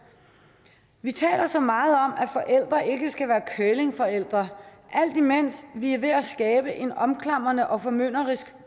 vi taler så meget om at forældre alt imens vi er ved at skabe en omklamrende og formynderisk